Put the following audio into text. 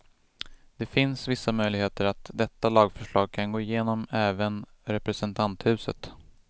Det finns vissa möjligheter att detta lagförslag kan gå igenom även representanthuset.